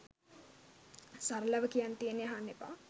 සරලව කියන්න තියෙන්නෙ අහන්න එපා.